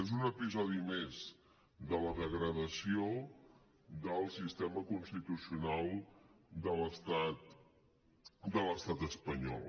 és un episodi més de la degradació del sistema constitucional de l’estat espanyol